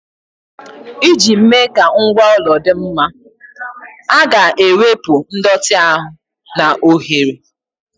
Iji mee ka ngwa ụlọ dị mma, a ga-ewepụ ndọtị ahụ na oghere.